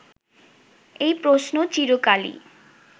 এই প্রশ্ন চিরকালই